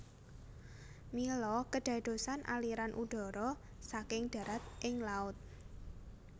Mila kedadosan aliran udara saking darat ing laut